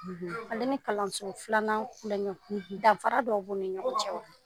ale ni kalanso filanan kulɔŋɛw, danfara dɔ b'u ni ɲɔgɔn cɛ wa?